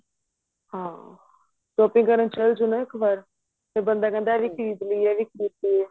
ਹਾਂ shopping ਕਰਨ ਚਲ ਜੋ ਨਾ ਇੱਕ ਵਾਰ ਫੇਰ ਬੰਦਾ ਕਹਿੰਦਾ ਖਰੀਦ ਲੀਏ ਇਹ ਵੀ ਖਰੀਦ ਲੀਏ